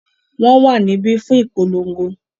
wọ́n wà níbí fún ìpolongo.